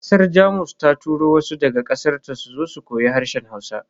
Kasar Jamus ta turo wasu daga kasarta suzo su koyi harshen Hausa.